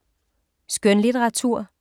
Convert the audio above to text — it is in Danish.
Skønlitteratur